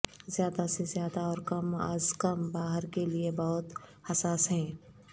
زیادہ سے زیادہ اور کم از کم باہر کے لئے بہت حساس ہیں